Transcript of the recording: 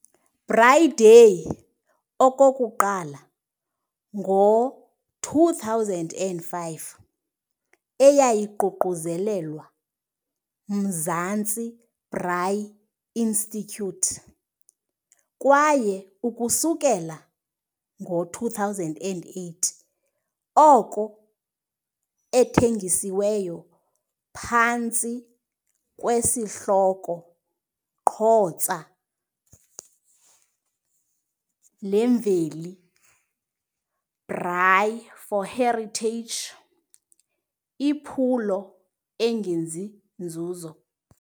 Braai Day okokuqala ngo-2005 eyayiququzelelwa Mzansi Braai Institute, kwaye ukusukela ngo-2008 oko ethengisiweyo phantsi kwesihloko Qhotsa leMveli, Braai4Heritage, iphulo engenzi-nzuzo.